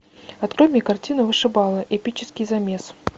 открой мне картину вышибала эпический замес